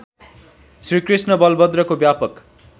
श्रीकृष्ण बलभद्रको व्यापक